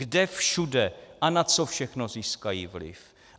Kde všude a na co všechno získají vliv?